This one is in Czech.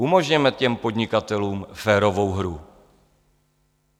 Umožněme těm podnikatelům férovou hru.